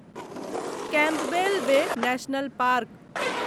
Campbell Bay National park